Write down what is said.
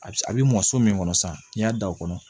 A bi a bi mɔ so min kɔnɔ sa n'i y'a da o kɔnɔ